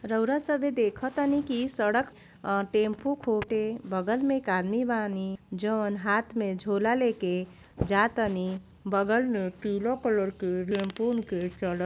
रउरा सबे देखतानी की इ सड़क अ टेम्पू फूटे बगल में एक आदमी बानी जउन हाथ में झोला लेके जा तानी। बगल में पीला कलर के टेम्पू के चलत --